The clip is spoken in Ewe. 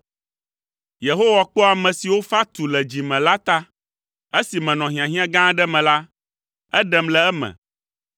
Yehowa kpɔa ame siwo fa tu le dzi me la ta; esi menɔ hiahiã gã aɖe me la, eɖem le eme.